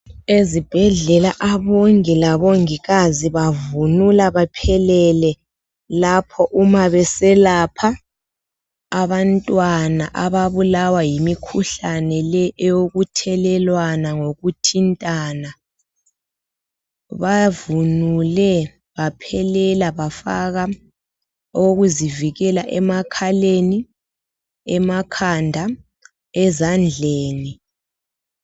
Ezibhedlela abongi labongikazi bavunula baqhelele lapho uma beselapha abantwana ababulawa yimikhuhlane le ethelelwana ngokuthintana. Bavunule baphelela emakhaleni, ezandleni kase1asemlonyeni.